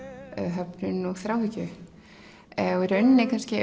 höfnun og þráhyggju og í raun kannski